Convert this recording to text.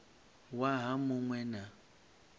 waha mu ṅ we na